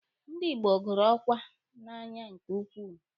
Ndi Igbo gụrụ ọkwa n'anya nke ukwuu.